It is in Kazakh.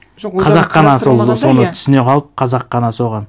қазақ қана сол соны түсіне қалып қазақ қана соған